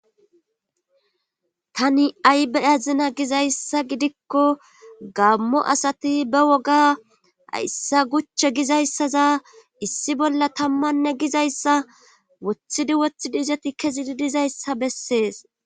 Tani ayi be'azina giza issa giddikko gammo asati ba woga hayssa guche giza issaza issi bolla tammanne giza issa wothidi wothidi izoti kezidi diza issa bessees